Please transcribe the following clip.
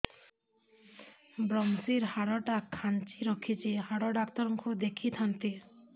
ଵ୍ରମଶିର ହାଡ଼ ଟା ଖାନ୍ଚି ରଖିଛି ହାଡ଼ ଡାକ୍ତର କୁ ଦେଖିଥାନ୍ତି